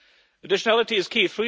Additionality is